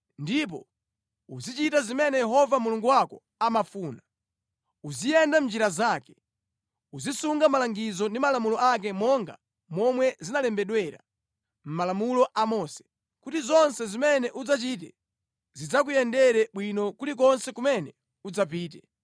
ndipo uzichita zimene Yehova Mulungu wako amafuna, uziyenda mʼnjira zake, uzisunga malangizo ndi malamulo ake monga momwe zinalembedwera mʼMalamulo a Mose, kuti zonse zimene udzachite zidzakuyendere bwino kulikonse kumene udzapite.